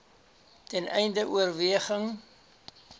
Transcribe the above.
ten einde oorweging